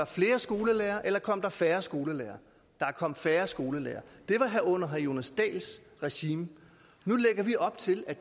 flere skolelærere eller kom der færre skolelærere der kom færre skolelærere det var under herre jonas dahls regime nu lægger vi op til at